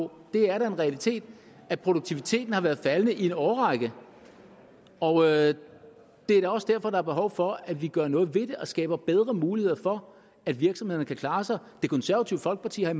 på det er da en realitet at produktiviteten har været faldende i en årrække og det er da også derfor der er behov for at vi gør noget ved det og skaber bedre muligheder for at virksomhederne kan klare sig det konservative folkeparti har